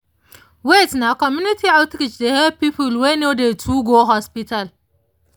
wait — na community outreach dey help people wey no dey too go hospital